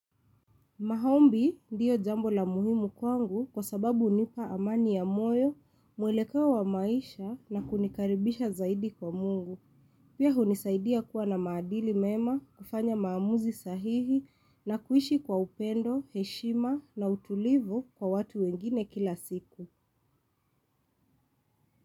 Maombi ndiyo jambo la muhimu kwangu kwa sababu hunipa amani ya moyo, mwelekeo wa maisha na kunikaribisha zaidi kwa Mungu. Pia hunisaidia kuwa na maadili mema, kufanya maamuzi sahihi na kuishi kwa upendo, heshima na utulivu kwa watu wengine kila siku.